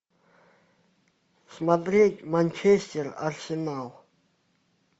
смотреть манчестер арсенал